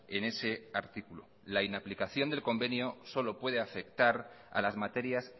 en ese artículo la inaplicación del convenio solo puede afectar a las materias